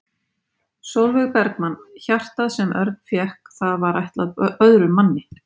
Sólveig Bergmann: Hjartað sem Örn fékk það var ætlað öðrum manni?